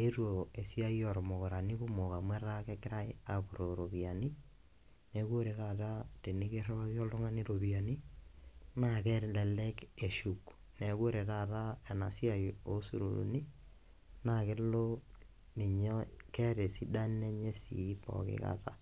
eetuo esiai ormukurani kumok amu etaa kegirae apurroo iropiyiani neku ore taata tenikirriwaki oltung'ani iropiyiani naa kelelek eshuk neku ore taata ena siai osururuni naa kelo ninye keeta esidano enye sii poki kata.